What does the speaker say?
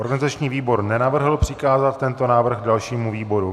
Organizační výbor nenavrhl přikázat tento návrh dalšímu výboru.